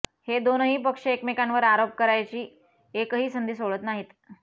हे दोनही पक्ष एकमेकांवर आरोप करायची एकही संधी सोडत नाहीत